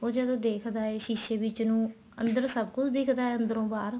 ਉਹ ਜਦੋਂ ਦੇਖਦਾ ਏ ਸ਼ੀਸੇ ਵਿੱਚ ਨੂੰ ਅੰਦਰੋ ਸਭ ਕੁੱਛ ਦਿੱਖਦਾ ਏ ਅੰਦਰੋ ਬਾਹਰ